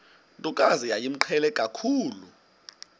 ntokazi yayimqhele kakhulu